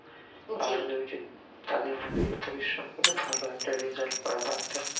তাদের মধ্যে এই পরিশ্রম করে ভালো একটা result পাবো একটা